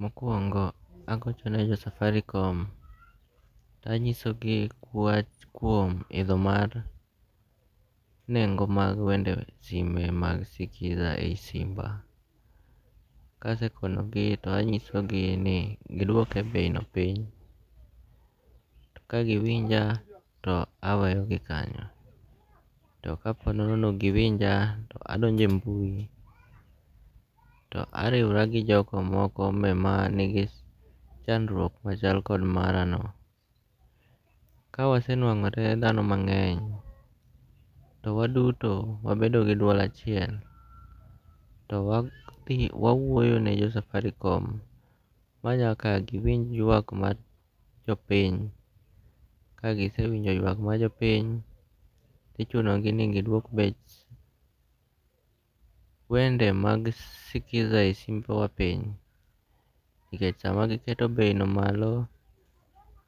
Mokuongo' agochone jo Safaricom to anyisogi wach kuom itho mar nengo' mag wende mag skiza e simba, kasekonogi to anyisogi ni gidwoke beino piny, kagiwinja to aweyo gi kanyo to kaa po nono ni ok gi winja to adonje e mbui to ariwora gi jok ma moko ma nigi chandruok machal kod marano, kawasenuango' re thano mange'ny to waduto wabedo gi dual achiel, to wawuoyene jo Safaricom ma nyaka gi winj ywak mar jo piny, kagisewinjo ywak mar jo piny thi chunogi ni gidwok bech wende mag skiza e simbewa piny, nikech sama giketo beino malo,